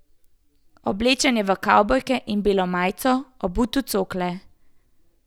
Oblečen je v kavbojke in belo majico, obut v cokle.